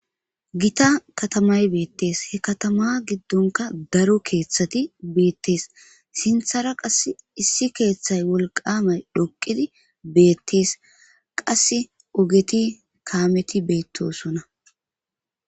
gita katamay beettees he katama giddonka daro keeththati beettees sinthara qass issi keeththay wolqamay dhoqidi beettees qasse ogeti kaameti beettosonna